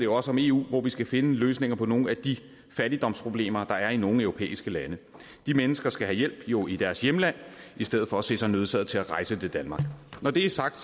også om eu hvor vi skal finde løsninger på nogle af de fattigdomsproblemer der er i nogle europæiske lande de mennesker skal jo i deres hjemland i stedet for at se sig nødsaget til at rejse til danmark når det er sagt